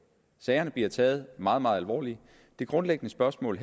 sagerne bliver taget meget meget alvorligt det grundliggende spørgsmål